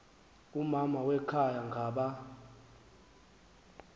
umama wekhaya ngaba